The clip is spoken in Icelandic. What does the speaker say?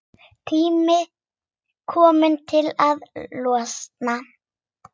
Tími kominn til að losna.